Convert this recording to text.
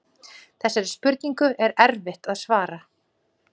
Þessari spurningu er erfitt að svara.